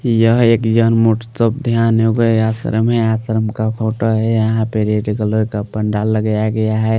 यह एक जनमोट सब ध्यानयोग है आश्रम है आश्रम का फोटो है यहाँ पे रेड कलर का पंडाल लगाया गया है।